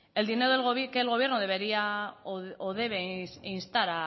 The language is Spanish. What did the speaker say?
el dinero que el gobierno debería o debe instar